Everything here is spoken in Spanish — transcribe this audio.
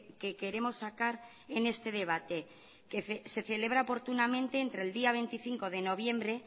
que queremos sacar en este debate que se celebra oportunamente entre el día veinticinco de noviembre